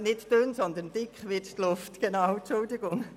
Nicht dünn, sondern dick wird die Luft, Entschuldigung.